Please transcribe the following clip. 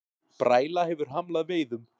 Bræla hefur hamlað veiðum